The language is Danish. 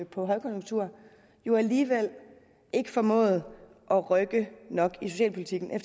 på højkonjunkturen jo alligevel ikke formåede at rykke nok ved socialpolitikken